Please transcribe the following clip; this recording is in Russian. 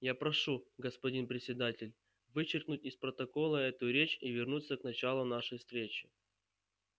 я прошу господин председатель вычеркнуть из протокола эту речь и вернуться к началу нашей встречи